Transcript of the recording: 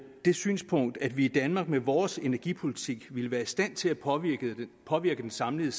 det synspunkt at vi i danmark med vores energipolitik ville være i stand til at påvirke påvirke den samlede